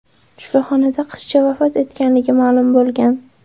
Shifoxonada qizcha vafot etganligi ma’lum bo‘lgan.